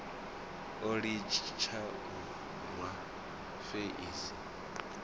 o litsha u rwa feisi